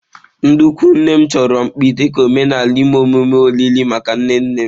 Ndị ikwu nne m chọrọ mkpi dị ka omenala ime emume olili maka nne nne m.